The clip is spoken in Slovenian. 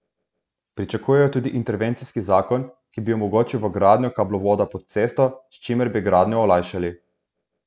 Pričakujejo tudi intervencijski zakon, ki bi omogočil vgradnjo kablovoda pod cesto, s čimer bi gradnjo olajšali.